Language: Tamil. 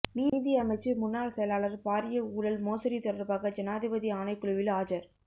நீதி அமைச்சின் முன்னாள் செயலாளர் பாரிய ஊழல் மோசடி தொடர்பாக ஜனாதிபதி ஆணைக்குழுவில் ஆஜர்